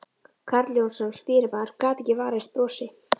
Karl Jónsson, stýrimaður, gat ekki varist brosi.